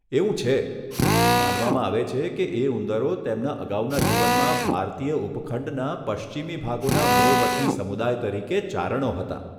એવું છે, માનવામાં આવે છે કે એ ઉંદરો તેમના અગાઉના જીવનમાં ભારતીય ઉપખંડના પશ્ચિમી ભાગોના મૂળ વતની સમુદાય તરીકે ચારણો હતા.